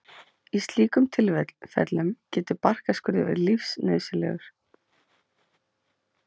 Í slíkum tilfellum getur barkaskurður verið lífsnauðsynlegur.